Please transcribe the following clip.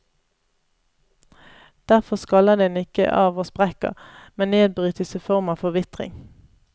Derfor skaller den ikke av og sprekker, men nedbrytes i form av forvitring.